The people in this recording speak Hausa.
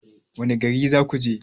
Wanne gari zakuje?